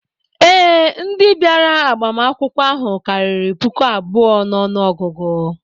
Ee, ndị bịara agbamakwụkwọ ahụ karịrị puku abụọ n'ọnụọgụgụ